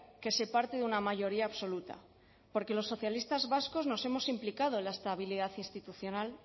que se parte de una mayoría absoluta porque los socialistas vascos nos hemos implicado en la estabilidad institucional